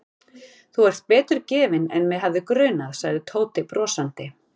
Þú ert betur gefinn en mig hefði grunað sagði Tóti brosandi.